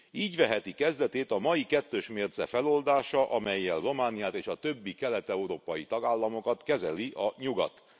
Így veheti kezdetét a mai kettős mérce feloldása, amellyel Romániát és a többi kelet európai tagállamokat kezeli a Nyugat.